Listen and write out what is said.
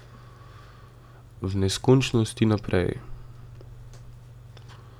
V neskončnost in naprej ...